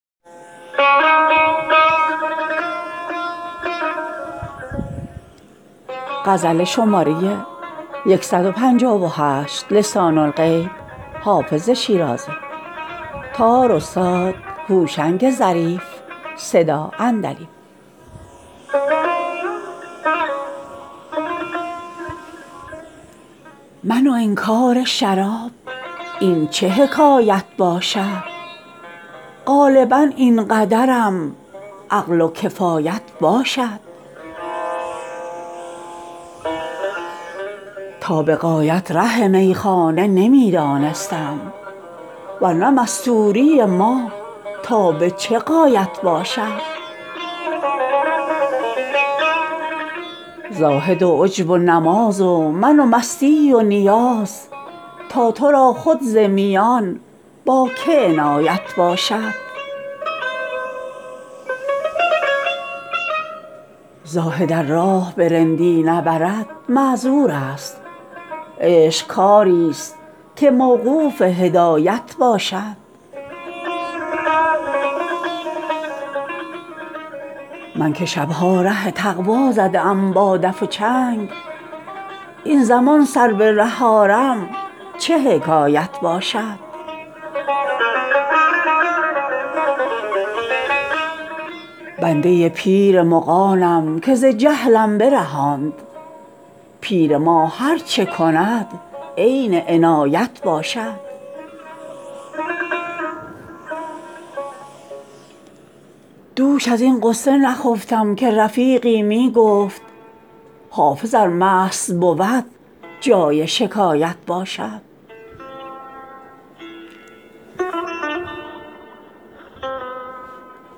من و انکار شراب این چه حکایت باشد غالبا این قدرم عقل و کفایت باشد تا به غایت ره میخانه نمی دانستم ور نه مستوری ما تا به چه غایت باشد زاهد و عجب و نماز و من و مستی و نیاز تا تو را خود ز میان با که عنایت باشد زاهد ار راه به رندی نبرد معذور است عشق کاری ست که موقوف هدایت باشد من که شب ها ره تقوا زده ام با دف و چنگ این زمان سر به ره آرم چه حکایت باشد بنده پیر مغانم که ز جهلم برهاند پیر ما هر چه کند عین عنایت باشد دوش از این غصه نخفتم که رفیقی می گفت حافظ ار مست بود جای شکایت باشد